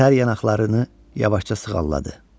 Tər yanaqlarını yavaşca sığalladı.